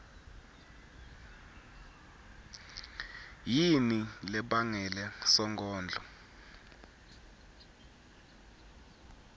yini lebangele sonkondlo